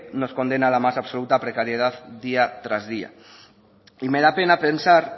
nos condena a las más absoluta precariedad día tras día y me da pena pensar